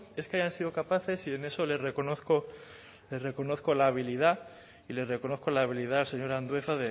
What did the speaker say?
es que hayan sido capaces y en eso les reconozco les reconozco la habilidad y le reconozco la habilidad señor andueza